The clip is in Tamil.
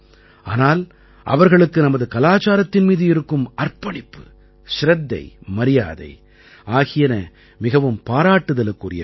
ஆனால் அவர்களுக்கு நமது கலாச்சாரத்தின் மீது இருக்கும் அர்ப்பணிப்பு சிரத்தை மரியாதை ஆகியன மிகவும் பாராட்டுதலுக்குரியவை